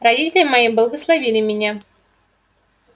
родители мои благословили меня